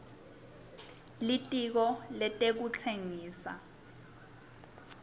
litiko letekutsengisa